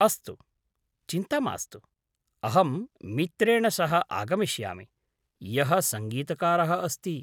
अस्तु, चिन्ता मास्तु। अहं मित्रेण सह आगमिष्यमि, यः सङ्गीतकारः अस्ति।